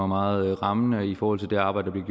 meget rammende i forhold til det arbejde der